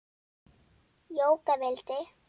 Jóka vildi.